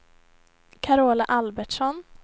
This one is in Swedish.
Carola Albertsson